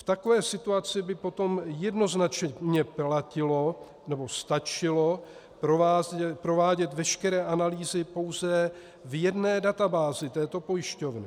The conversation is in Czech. V takové situaci by potom jednoznačně platilo nebo stačilo provádět veškeré analýzy pouze v jedné databázi této pojišťovny.